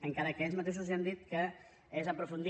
encara que ells mateixos ja han dit que és aprofundir